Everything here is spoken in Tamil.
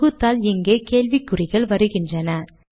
தொகுத்தால் இங்கே கேள்விக்குறிகள் வருகின்றன